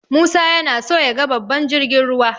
Musa yana so yaga babban jirgin ruwa.